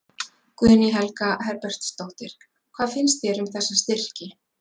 Guðný Helga Herbertsdóttir: Hvað finnst þér um þessa styrki?